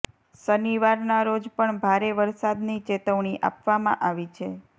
શનિવારના રોજ પણ ભારે વરસાદની ચેતવણી આપવામાં આવી છે